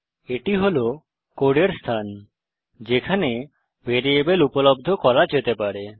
এটি হল কোডের স্থান যেখানে ভ্যারিয়েবল উপলব্ধ করা যেতে পারে